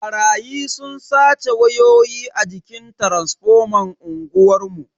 Barayi sun sace wayoyi a jikin taransifoman unguwar mu.